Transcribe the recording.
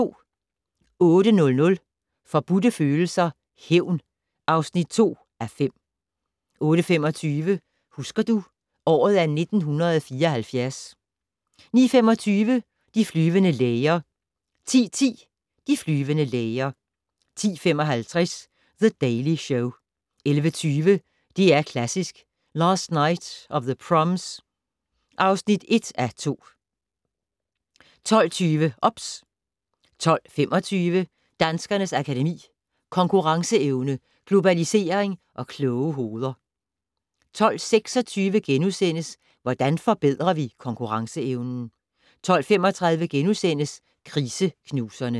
08:00: Forbudte Følelser - Hævn (2:5) 08:25: Husker du - året er 1974 09:25: De flyvende læger 10:10: De flyvende læger 10:55: The Daily Show 11:20: DR Klassisk: Last Night of the Proms (1:2) 12:20: OBS 12:25: Danskernes Akademi: Konkurrenceevne, globalisering og kloge hoveder 12:26: Hvordan forbedrer vi konkurrenceevnen? * 12:35: Kriseknuserne *